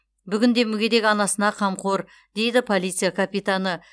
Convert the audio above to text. бүгінде мүгедек анасына қамқор дейді полиция капитаны